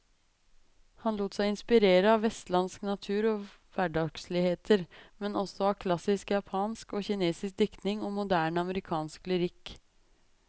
Han lot seg inspirere av vestlandsk natur og hverdagsligheter, men også av klassisk japansk og kinesisk diktning og moderne amerikansk lyrikk.